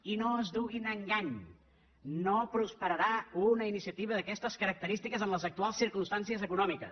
i no es duguin a engany no prosperarà una iniciativa d’aquestes característiques en les actuals circumstàncies econòmiques